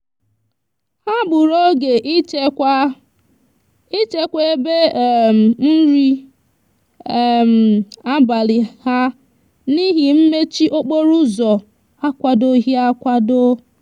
ha gburu oge ịchekwa ịchekwa ebe um nri um abalị ha n'ihi mmechi okporoụzọ akwadoghị akwado.